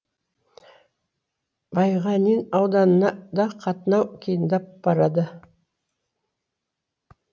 байғанин ауданына да қатынау қиындап барады